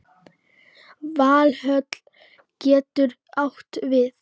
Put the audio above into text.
Valhöll getur átt við